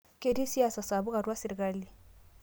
Ketii siasa sapuk atua sirkali